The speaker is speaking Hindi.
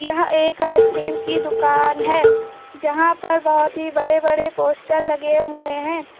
यह एक आइस क्रीम की दुकान है जहां पर बहोत ही बड़े बड़े पोस्टर लगे हुए हैं।